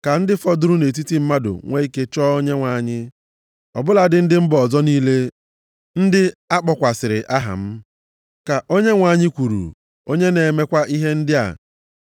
ka ndị fọdụrụ nʼetiti mmadụ nwe ike chọọ Onyenwe anyị, ọ bụladị ndị mba ọzọ niile ndị a kpọkwasịrị aha m, ka Onyenwe anyị kwuru, onye na-emekwa ihe ndị a.’ + 15:17 \+xt Ems 9:11,12\+xt*